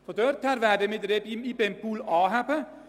Insofern werden wir den IBEM-Pool anheben.